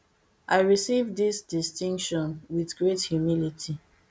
i receive dis distinction wit great humility